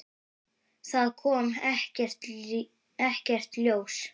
Það kom ekkert ljós.